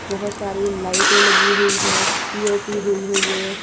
बहोत सारी लाइटे लगी हुई है पी_ओ_पी हुई हुई है।